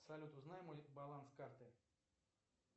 салют узнай мой баланс карты